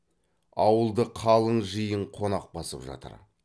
ауылды қалың жиын қонақ басып жатыр